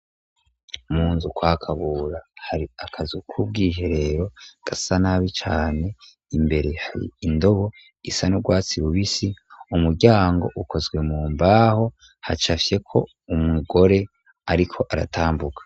Munzu kwakabura hari akazi k'ubwoiherero gasa nabi cane imbere hari indobo isa n'urwatsi bubisi umuryango ukozwe mu mbaho haca afyeko umugore, ariko aratambuka.